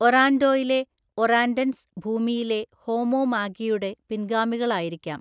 ഒറാൻഡോയിലെ ഒറാൻഡൻസ് ഭൂമിയിലെ ഹോമോ മാഗിയുടെ പിൻഗാമികളായിരിക്കാം.